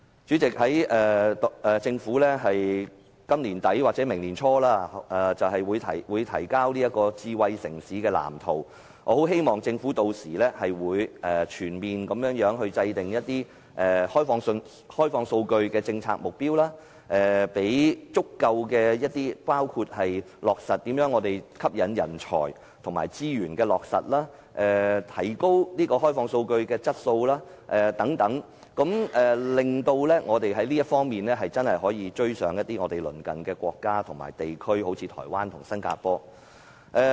主席，政府在今年年底或明年年初便會公布智慧城市藍圖，我很希望政府屆時制訂全面的開放數據政策目標，包括如何吸引人才、資源落實和提高開放數據質素等，令我們在這方面可以追上鄰近國家和地區，例如台灣和新加坡。